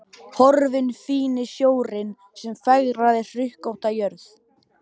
Horfinn fíni snjórinn sem fegraði hrukkótta jörð.